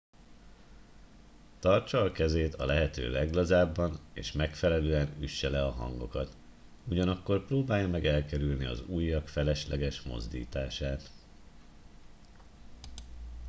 tartsa a kezét a lehető leglazábban és megfelelően üsse le a hangokat ugyanakkor próbálja meg elkerülni az ujjak felesleges mozdítását